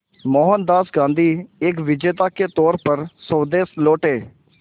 मोहनदास गांधी एक विजेता के तौर पर स्वदेश लौटे